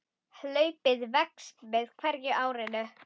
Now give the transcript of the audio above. Hlaupið vex með hverju árinu.